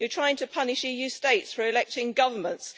you are trying to punish EU States for electing governments.